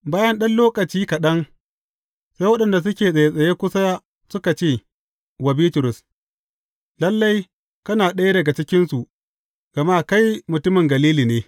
Bayan ɗan lokaci kaɗan, sai waɗanda suke tsattsaye kusa suka ce wa Bitrus, Lalle, kana ɗaya daga cikinsu, gama kai mutumin Galili ne.